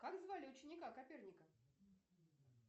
как звали ученика коперника